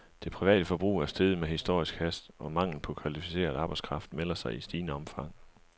Det private forbrug er steget med historisk hast, og manglen på kvalificeret arbejdskraft melder sig i stigende omfang.